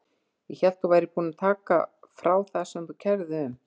Ég hélt að þú værir búin að taka frá það sem þú kærðir þig um.